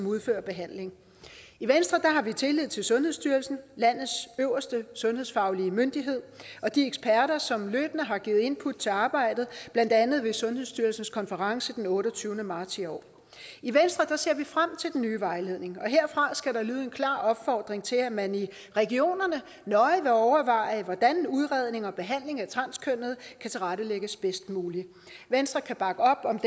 udfører behandlingen i venstre har vi tillid til sundhedsstyrelsen landets øverste sundhedsfaglige myndighed og de eksperter som løbende har givet input til arbejdet blandt andet ved sundhedsstyrelsens konference den otteogtyvende marts i år i venstre ser vi frem til den nye vejledning og herfra skal der lyde en klar opfordring til at man i regionerne nøje vil overveje hvordan udredning og behandling af transkønnede kan tilrettelægges bedst muligt venstre kan bakke op om